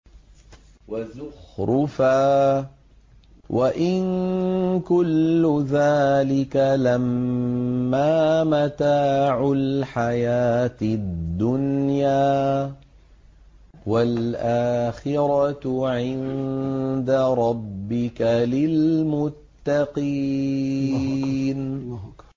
وَزُخْرُفًا ۚ وَإِن كُلُّ ذَٰلِكَ لَمَّا مَتَاعُ الْحَيَاةِ الدُّنْيَا ۚ وَالْآخِرَةُ عِندَ رَبِّكَ لِلْمُتَّقِينَ